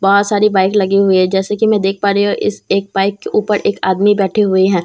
बहुत सारी बाइक लगी हुई है जैसा की मैं देख प रही हूँ इस एक बाइक के ऊपर एक आदमी बैठे हुए हैं।